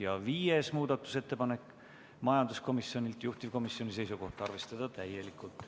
Ja ka viies muudatusettepanek on majanduskomisjonilt, juhtivkomisjoni seisukoht on arvestada seda täielikult.